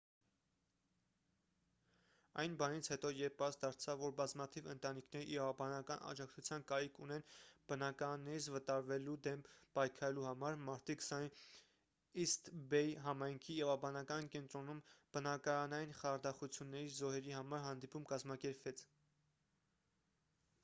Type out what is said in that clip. այն բանից հետո երբ պարզ դարձավ որ բազմաթիվ ընտանիքներ իրավաբանական աջակցության կարիք ունեն բնակարաններից վտարվելու դեմ պայքարելու համար մարտի 20-ին իսթ բեյ համայնքի իրավաբանական կենտրոնում բնակարանային խարդախությունների զոհերի համար հանդիպում կազմակերպվեց